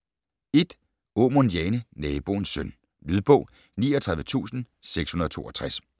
1. Aamund, Jane: Naboens søn Lydbog 39662